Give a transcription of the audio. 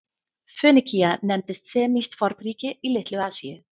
Fönikía nefndist semískt fornríki í Litlu-Asíu.